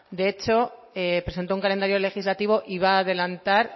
de hecho presentó un calendario legislativo y va adelantar